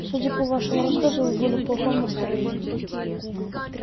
судя по вашему рассказу вы были в плохом настроении